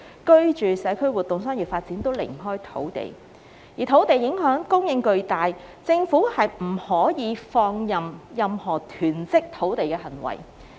居住、社區活動、商業發展均離不開土地，而土地供應影響巨大，政府不可放任任何囤積土地的行為。